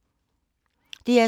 DR2